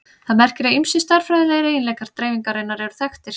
Það merkir að ýmsir stærðfræðilegir eiginleikar dreifingarinnar eru þekktir.